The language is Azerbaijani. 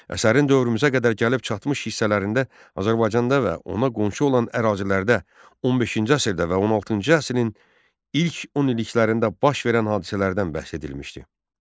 Əsərin dövrümüzə qədər gəlib çatmış hissələrində Azərbaycanda və ona qonşu olan ərazilərdə 15-ci əsrdə və 16-cı əsrin ilk 10 illiklərində baş verən hadisələrdən bəhs edilmişdi.